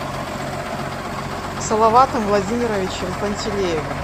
салаватом владимировичем пантелеевым